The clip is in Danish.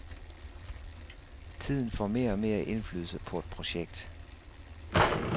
Tiden får mere og mere indflydelse på et projekt.